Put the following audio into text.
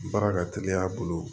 Baara ka teli a bolo